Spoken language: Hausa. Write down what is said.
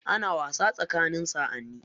Ana wasa tsakanin sa'ani.